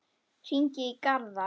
Hringi í Garðar.